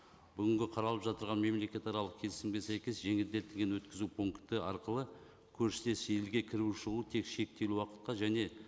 бүгінгі қаралып мемлекетаралық келісімге сәйкес жеңілдетілген өткізу пункті арқылы көршілес елге кіруі шығуы тек шектеулі уақытқа және